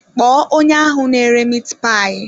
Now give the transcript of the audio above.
Kpọọ onye ahụ n'ere miit paayi.